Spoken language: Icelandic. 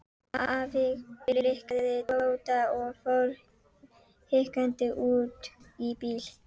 Afi blikkaði Tóta og fór hikandi út í bíl.